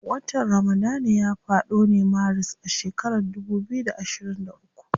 Watan ramadana ya fado ne maris a shekaran dubu biyu da ashirin uku.